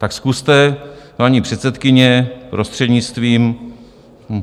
Tak zkuste, paní předsedkyně, prostřednictvím...